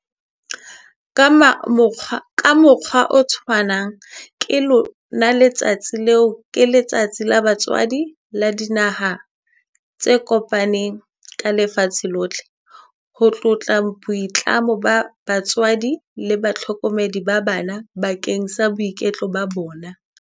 Ka mokgwa o tshwanang, ka lona letsatsi leo ke Letsatsi la Batswadi la Dinaha tse Kopaneng ka Lefatshe lohle, ho tlotla boitlamo ba batswadi le bahlokomedi ba bana bakeng sa boiketlo ba bona.